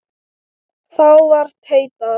Þá var tautað